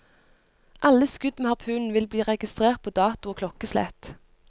Alle skudd med harpunen vil bli registrert på dato og klokkeslett.